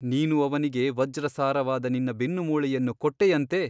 ನೀನು ಅವನಿಗೆ ವಜ್ರಸಾರವಾದ ನಿನ್ನ ಬೆನ್ನಮೂಳೆಯನ್ನು ಕೊಟ್ಟೆಯಂತೆ !